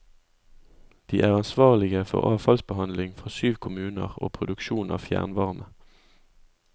De er ansvarlige for avfallsbehandling fra syv kommuner og produksjon av fjernvarme.